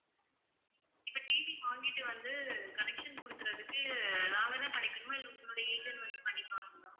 இப்ப TV வாங்கிட்டு வந்து connection குடுக்குறதுக்கு நாங்க தான் பண்ணிக்கனுமா இல்ல உங்களுடைய agent வந்து பண்ணிப்பாங்களா?